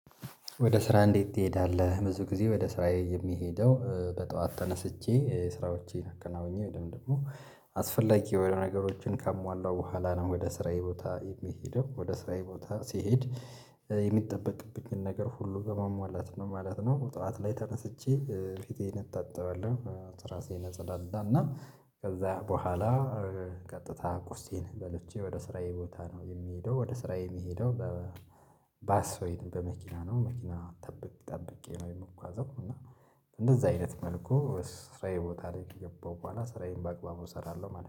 ወደ ስራ እንዴት ትሄዳለህ? ብዙ ጊዜ ወደ ስራዬ የሚሄደው በጠዋት ተነስቼ ስራዎቼን አከናውኜ ወይ ደግሞ አስፈላጊ የሆነ ነገሮችን ከሟላው በኋላ ነው ወደ ስራዬ ቦታ የሚሄደው ወደ ስራዬ ቦታ ሲሄድ የሚጠበቅብኝን ነገር ሁሉ በማሟላት ነው ማለት ነው። ጠዋት ላይ ተነስቼ ፊቴን እታጣዋለሁ ራሴን አጸዳዳና ከዛ በኋላ ቀጥታ ቁርሴን በልቼ ወደ ስራዬ ቦታ ነው የሚሄደው ወደ ስራዬ የሚሄደው። ባስ ወይ በመኪና ነው መኪና ጠብቄ ነው የምንጓዘው እና እንደዛ አይነት መልኩ ስራዬ ቦታ ላይ ከገባሁ በኋላ ስራዬን በአግባቡ እሰራለሁ። ማለት ነው